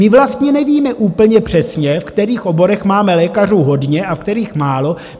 My vlastně nevíme úplně přesně, v kterých oborech máme lékařů hodně a v kterých málo.